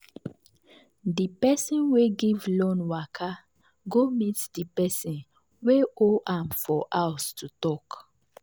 di person wey give loan waka go meet di person wey owe am for house to talk.